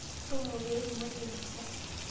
Toomo pee itumoki ainosa.